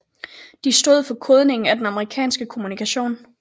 De stod for kodningen af den amerikanske kommunikation